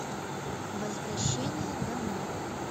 возвращение домой